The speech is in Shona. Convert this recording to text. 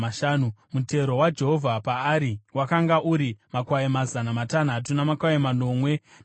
mutero waJehovha paari wakanga uri makwai mazana matanhatu namakwai manomwe namashanu;